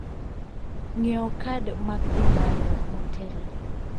Ng'iewo kad mag dhi bayo motelo.